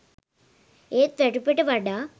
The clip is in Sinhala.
ඒත් වැටුපට වඩා